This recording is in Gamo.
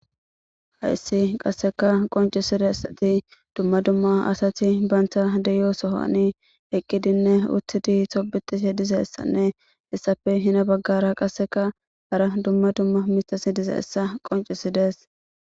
hayssi qasseka qoncisidessati dumma dumma asati baynta deyo sohani eqqidinne uttidi sobixise dizeessanne essafe hina baggara qasseka hara dumma dumma mitas dizeessa qoncisidees